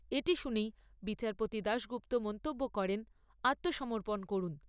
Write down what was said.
এটি শুনেই বিচারপতি দাশগুপ্ত মন্তব্য করেন, আত্মসমর্পণ করুন।